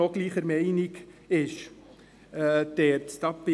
Diesbezüglich bin ich gespannt.